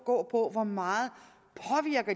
gå på hvor meget